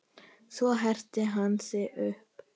Svo herti hann sig upp.